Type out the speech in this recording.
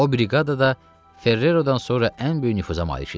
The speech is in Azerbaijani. O briqadada Ferrerodan sonra ən böyük nüfuza malik idi.